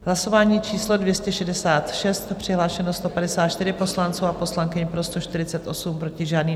Hlasování číslo 266, přihlášeno 154 poslanců a poslankyň, pro 148, proti žádný.